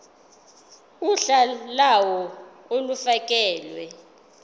uhla lawo olufakelwe